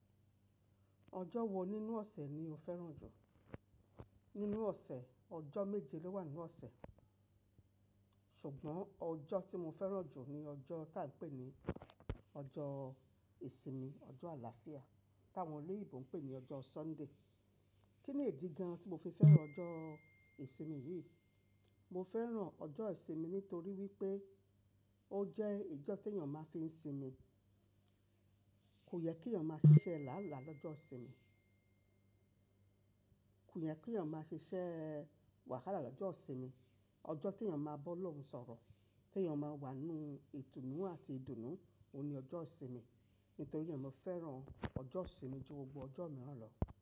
Ọjọ́ wo nínú ọ̀sẹ̀ ni o fẹ́ràn jù? Nínú ọ̀sẹ̀, ọjọ́ méje ló wà nnnu ọ̀sẹ̀. Ṣùgbọ́n ọjọ́ tí mo fẹ́ràn jù ni ọjọ́ tá ń pè ní ọjọ́ ìsinmi, ọjọ́ àlàáfíà, táwọn oloyinbo ń pè ní ọjọ́ Sunday. Kí ni ìdí gan-an tí mo fi fẹ́ràn ọjọ́ ìsinmi yìí? Mo fẹ́ràn ọjọ́ ìsinmi nítorí wípé ó jẹ́ ijọ́ tèèyàn máa fi ń sinmi. Kò yẹ kí èèyàn máa ṣiṣẹ́ lálàá lọ́jọ́ ìsinmi. Kò yẹ kí èèyàn máa ṣiṣẹ́ wàhálà lọ́jọ́ ìsinmi. Ọjọ́ tí èèyàn máa bọ́ Ọlọ́run sọ̀rọ̀, tí èèyàn máa wà nínú ìtùnú àti ìdùnnú, òun ni ọjọ́ ìsinmi. Nítorí e mo fẹ́ràn ọjọ́ ìsinmi ju gbogbo ọjọ́ mìíràn lọ.